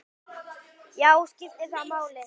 Já, skiptir það máli?